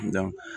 Dɔn